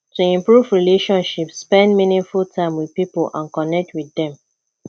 to improve relationship spend meaningful time with pipo and connect with dem